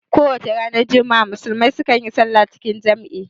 Kowacce ranar juma'a musulmai su kan yi salla cikin jam'i